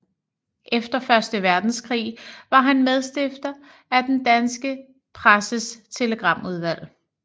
Efter Første Verdenskrig var han medstifter af Den danske Presses Telegramudvalg